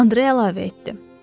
Andre əlavə etdi.